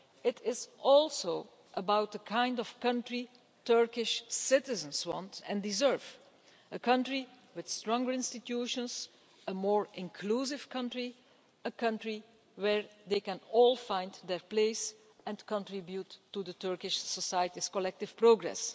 It is also about the kind of country Turkish citizens want and deserve, a country with stronger institutions, a more inclusive country and a country where they can all find their place and contribute to Turkish society's collective progress.